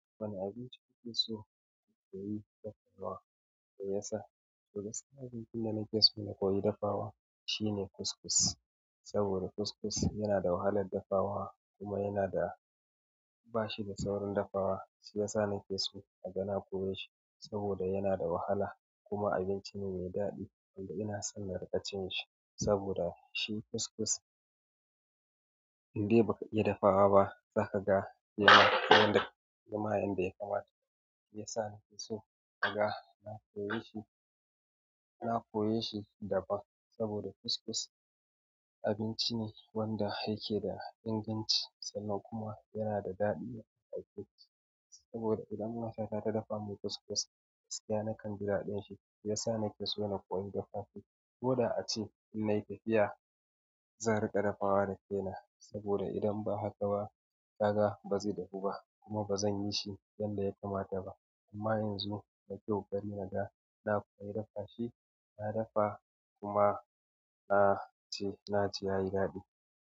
Wane abinci kuke so kuyi dafawa da ya sa? Daga cikin abincin da nake so na koyi dafawa shi ne kuskus. Saboda kuskus yana da wahalar dafawa kuma yana da bashi da saurin dafawa shiyasa nake so naga na koye shi saboda yana da wahala kuma abinci ne mai daɗi. Ina son na riƙa cin shi saboda shi kuskus indai baka iya dafawa zaka ga yana yanda zama yanda ya kamata. Shiyasa nake so naga na koye shi, na koye shi, daban saboda kuskus abinci ne wanda yake da inganci sannan kuma yana da daɗi idan aka ci. Saboda idan matata ta dafa min kuskus, gaskiya nakan ji daɗin shi shiyasa nake so na koyi dafa shi. Koda ace in na yi tafiya zan riƙa dafawa da kaina saboda idan ba haka ba, ka ba zai dahu ba kuma ba zan yi shi yanda ya kamata ba. Amma yanzu da kyau gani na da na koyi dafa shi, na dafa kuma na ci na ji yayi daɗi.